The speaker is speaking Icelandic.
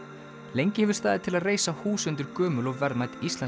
lengi hefur staðið til að reisa hús undir gömul og verðmæt íslensk